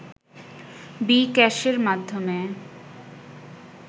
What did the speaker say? বি-ক্যাশের মাধ্যমে